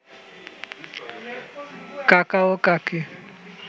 কাকা ও কাকী